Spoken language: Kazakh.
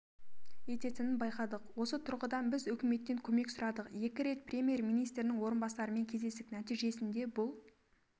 ететінін байқадық осы тұрғыдан біз үкіметтен көмек сұрадық екі рет премьер-министрдің орынбасарымен кездестік нәтижесінде бұл